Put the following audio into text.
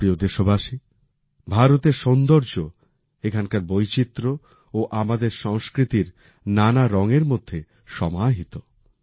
আমার প্রিয় দেশবাসী ভারতের সৌন্দর্য এখানকার বৈচিত্র ও আমাদের সংস্কৃতির নানা রং মধ্যে সমাহিত